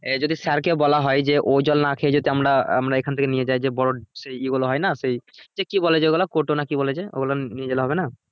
এ যদি sir কে বলা হয়ে যে ও জল না খেয়ে যাতে আমরা আমরা এখান থেকে নিয়ে যাই যে বড়ো সেই ইয়ে গুলো হয়ে না সেই সে কি বলে যেগুলো কোটো না কি বলে যে ওগুলো নিয়ে গেলে হবে না?